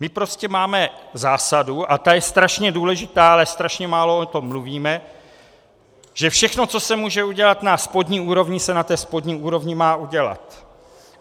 My prostě máme zásadu, a ta je strašně důležitá, ale strašně málo o tom mluvíme, že všechno, co se může udělat na spodní úrovni, se na té spodní úrovni má udělat.